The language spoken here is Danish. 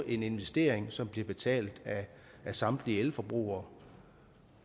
en investering som bliver betalt af samtlige elforbrugere